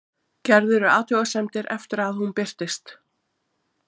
Gerðirðu athugasemdir eftir að hún birtist?